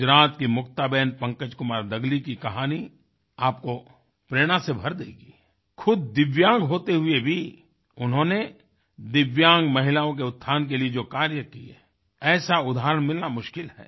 गुजरात की मुक्ताबेन पंकजकुमार दगली की कहानी आपको प्रेरणा से भर देगी खुद दिव्यांग होते हुए भी उन्होंने दिव्यांग महिलाओं के उत्थान के लिए जो कार्य किए ऐसा उदाहरण मिलना मुश्किल है